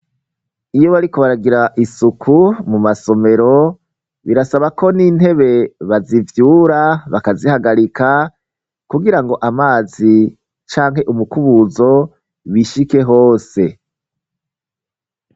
Iyo barikobaragira isuku mu masomero, birasaba ko n'intebe bazivyura bakazihagarika kugira ngo amazi canke umukubuzo bishike hose.